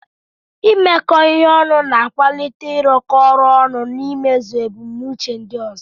Imekọ ihe ọnụ na-akwalite ịrụkọ ọrụ ọnụ na imezu ebumnuche ndị ọzọ.